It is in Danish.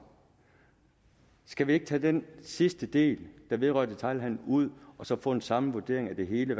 skal vi ikke tage den sidste del der vedrører detailhandelen ud og så få en samlet vurdering af det hele